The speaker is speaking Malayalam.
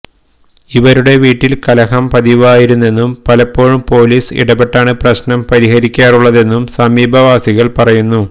ഇവരുടെ വീട്ടിൽ കലഹം പതിവായിരുന്നെന്നും പലപ്പോഴും പോലീസ് ഇടപെട്ടാണ് പ്രശ്നം പരിഹരിക്കാറുള്ളതെന്നും സമീപവാസികൾ പറയുന്നു